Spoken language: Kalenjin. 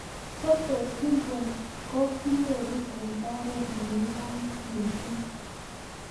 Sotos syndrome ko kinyoru eng' oret ne ng'om mising'